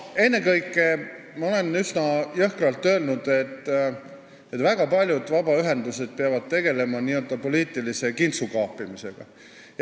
Ennekõike nii palju, et ma olen üsna jõhkralt öelnud, et väga paljud vabaühendused peavad tegelema n-ö poliitilise kintsukaapimisega.